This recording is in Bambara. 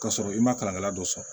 K'a sɔrɔ i ma kalankɛla dɔ sɔrɔ